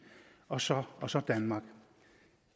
og så og så danmark